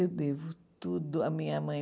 Eu devo tudo à minha mãe.